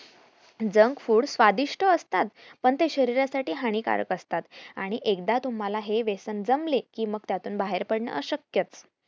junk food स्वादिष्ट असता पण ते शरीर साठी हानिकारक असता आणि एकदा तुम्हाला हे व्यसन जमले कि मग त्यातून बाहेर पडणे अश्यक्यच